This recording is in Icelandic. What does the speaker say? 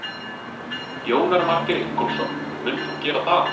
Jónar Margeir Ingólfsson: Munt þú gera það?